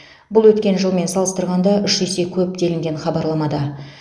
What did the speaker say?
бұл өткен жылмен салыстырғанда үш есе көп делінген хабарламада